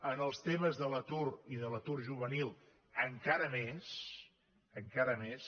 en els temes de l’atur i de l’atur juvenil encara més encara més